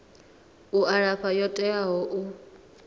u alafha yo teaho u